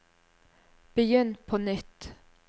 begynn på nytt